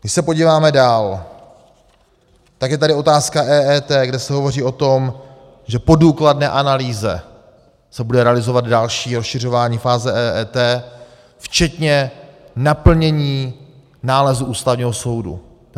Když se podíváme dál, tak je tady otázka EET, kde se hovoří o tom, že po důkladné analýze se bude realizovat další rozšiřování fáze EET včetně naplnění nálezu Ústavního soudu.